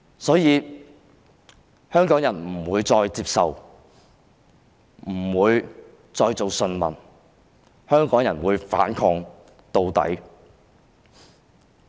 所以，香港人不會再當順民，香港人會反抗到底。